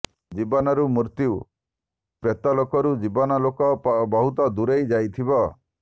ଜୀବନରୁ ମୃତ୍ୟୁ ପ୍ରେତଲୋକରୁ ଜୀବନ ଲୋକ ବହୁତ ଦୂରେଇ ଯାଇଥିବ